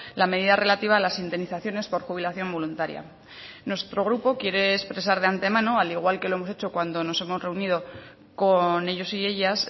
la medida relativa a las indemnizaciones por jubilación voluntaria nuestro grupo quiere expresar de ante mano al igual que lo hemos hecho cuando nos hemos reunido con ellos y ellas